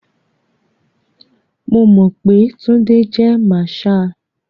Mo mọ̀ pé Túndé jé marshal.